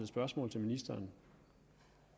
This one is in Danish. spørgsmål til ministeren